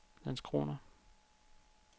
Landskrona